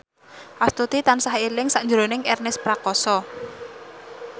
Astuti tansah eling sakjroning Ernest Prakasa